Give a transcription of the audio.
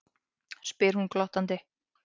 spyr hún glottandi.